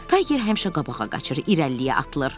Tayger həmişə qabağa qaçır, irəliyə atılır.